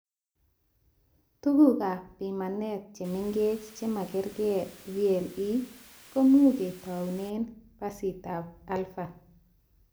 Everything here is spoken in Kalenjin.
Tugukab pimane chemengech chemakerke VLE komu ketoune phasitab Alpha